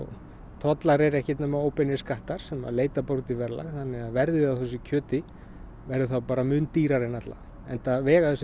tollar eru ekkert nema óbeinir skattar sem leita út í verðlag verðið á þessu kjöti verður bara mun dýrara en ella enda vega þessir